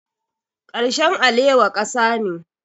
Karshen alewa ƙasa ne.